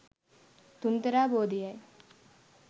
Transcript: තුන්තරා බෝධිය යි.